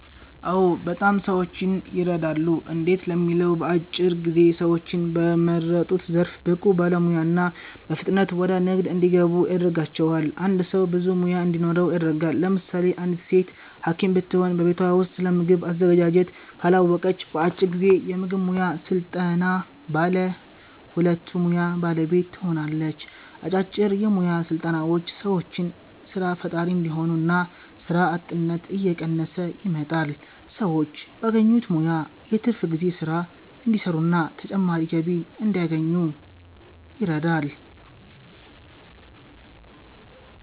አዎ! በጣም ሰዎችን የረዳሉ። እንዴት ለሚለው በአጭር ጊዜ ሰዎችን በመረጡት ዘርፍ ብቁ ባለሙያ እና በፍጥነት ወደ ንግድ እንዲገቡ ያደርጋቸዋል። አንድ ሰው ብዙ ሙያ እንዲኖረው ያደርጋል። ለምሳሌ አንዲት ሴት ሀኪም ብትሆን በቤቷ ውስጥ ስለምግብ አዘገጃጀት ካላወቀች በአጭር ጊዜ የምግብ ሙያ ሰልጥና ባለ ሁለቱ ሙያ ባለቤት ትሆናለች። አጫጭር የሞያ ስልጠናዎች ሰዎችን ሰራ ፈጣሪ እንዲሆኑ እና ስራ አጥነት እየቀነሰ ይመጣል። ሰዎች ባገኙት ሙያ የትርፍ ጊዜ ስራ እንዲሰሩና ተጨማሪ ገቢ እንዲያገኙ ይረዳል።